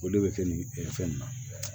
O de bɛ kɛ nin fɛn in na